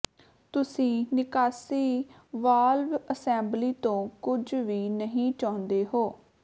ਤੁਸੀਂ ਨਿਕਾਸੀ valve assembly ਤੋਂ ਕੁਝ ਵੀ ਨਹੀਂ ਚਾਹੁੰਦੇ ਹੋ